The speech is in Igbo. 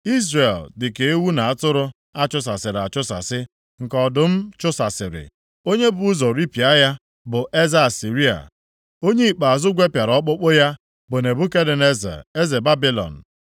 “Izrel dị ka ewu na atụrụ a chụsasịrị achụsasị, nke ọdụm chụsasịrị. Onye bu ụzọ ripịa ya bụ eze Asịrịa. Onye ikpeazụ gwepịara ọkpụkpụ ya bụ Nebukadneza, eze Babilọn.”